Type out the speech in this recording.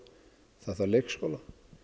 það þarf leikskóla